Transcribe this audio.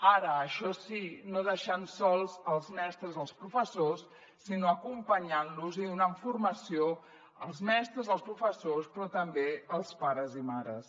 ara això sí no deixant sols els mestres els professors sinó acompanyant los i donant formació als mestres als professors però també als pares i mares